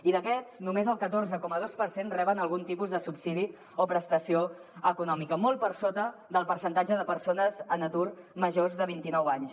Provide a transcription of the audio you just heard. i d’aquests només el catorze coma dos per cent reben algun tipus de subsidi o prestació econòmica molt per sota del percentatge de persones en atur majors de vint i nou anys